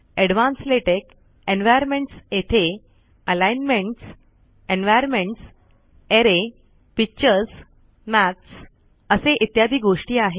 advance LaTeX environments येथे alignments environments array pictures maths maths असे असे इत्यादी गोष्टी आहे